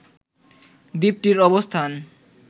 দ্বীপটির অবস্থান